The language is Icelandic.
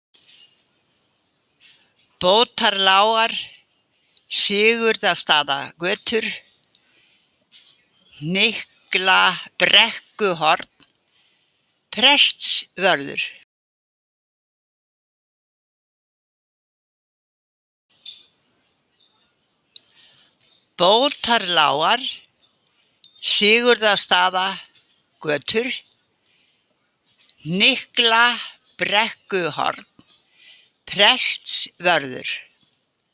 Bótarlágar, Sigurðarstaðagötur, Hnykklabrekkuhorn, Prestsvörður